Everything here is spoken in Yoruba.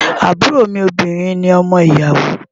Àbúrò mi obìnrin ni ọmọ ìyàwó.